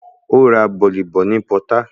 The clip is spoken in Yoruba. Ó ra bọ̀lì ní pọtá